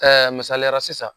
masaliyara sisan